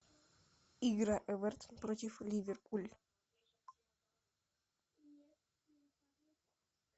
игра эвертон против ливерпуль